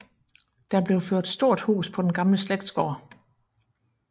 Der blev ført stort hus på den gamle slægtsgård